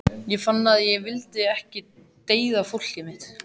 Ég fann að ég vildi ekki deyða fólkið mitt.